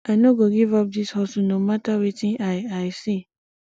i no go give up dis hustle no mata wetin i i see